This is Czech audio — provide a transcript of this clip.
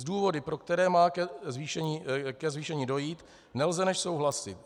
S důvody, pro které má ke zvýšení dojít, nelze než souhlasit.